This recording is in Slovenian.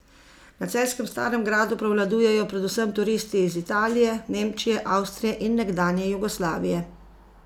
Na celjskem Starem gradu prevladujejo predvsem turisti iz Italije, Nemčije, Avstrije in nekdanje Jugoslavije.